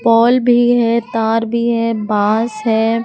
पोल भी है तार भी है बांस है।